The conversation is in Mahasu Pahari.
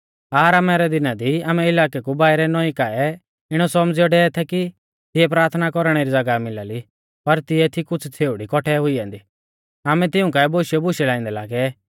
आरामा रै दिना दी आमै इलाकै कु बाइरै नौईं काऐ इणौ सौमझ़ियौ डेवै थै कि तिऐ प्राथना कौरणै री ज़ागाह मिला ली पर तिऐ थी कुछ़ छ़ेउड़ी कौठै हुई ऐन्दी आमै तिऊं काऐ बोशियौ बुशै लाइंदै लागै